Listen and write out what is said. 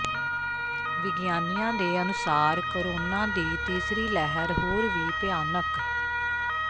ਵਿਗਿਆਨੀਆਂ ਦੇ ਅਨੁਸਾਰ ਕੋਰੋਨਾ ਦੀ ਤੀਸਰੀ ਲਹਿਰ ਹੋਰ ਵੀ ਭਿਆਨਕ